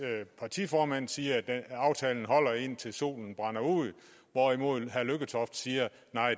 partiformand siger at aftalen holder indtil solen brænder ud hvorimod herre lykketoft siger